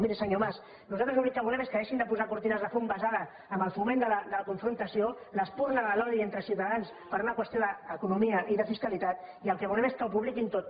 miri senyor mas nosaltres l’únic que volem és que deixin de posar cortines de fum basades en el foment de la confrontació l’espurna de l’odi entre ciutadans per una qüestió d’economia i de fiscalitat i el que volem és que ho publiquin tot